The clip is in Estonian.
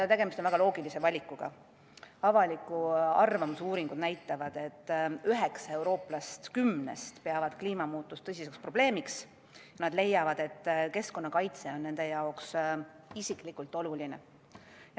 Tegemist on väga loogilise valikuga – avaliku arvamuse uuringud näitavad, et üheksa eurooplast kümnest peavad kliimamuutust tõsiseks probleemiks ja leiavad, et keskkonnakaitse on nende jaoks isiklikult oluline.